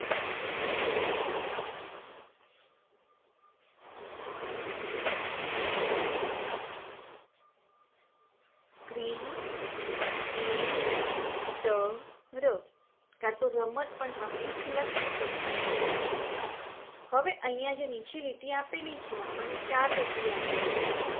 cricketer કાંતો રમત પણ તમે લખી શકો હવે અહિયાં જે લીટી આપેલી છે આપણને ચાર લીટી આપેલી છે.